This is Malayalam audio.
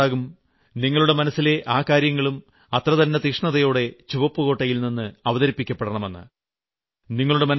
നിങ്ങൾ ആഗ്രഹിക്കുന്നുണ്ടാകും നിങ്ങളുടെ മനസ്സിലെ ആ കാര്യങ്ങളും അത്ര തന്നെ തീഷ്ണതയോടെ ചുവപ്പ്കോട്ടയിൽ നിന്ന് അവതരിപ്പിക്കപ്പെടണമെന്ന്